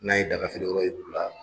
N'a ye daga feere yɔrɔ yira u la